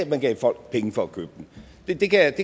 man gav folk penge for at købe den det kan jeg